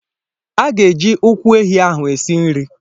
A ga-eji ụkwụ ehi ahụ esi nri.